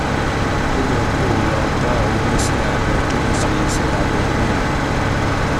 ó yẹ kó o lọ bá oníṣẹ́ abẹ tó ṣe iṣẹ́ abẹ náà